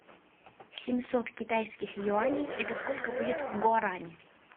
семьсот китайских юаней это сколько будет в гуарани